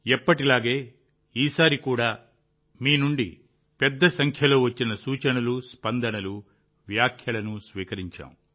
ఎప్పటిలాగే ఈసారి కూడా మీనుండి పెద్ద సంఖ్యలో వచ్చిన సూచనలు స్పందనలు వ్యాఖ్యలను స్వీకరించాం